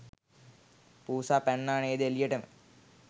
පූසා පැන්නා නේද එළියටම.